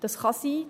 Das kann sein.